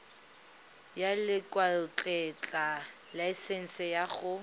ya lekwalotetla laesense ya go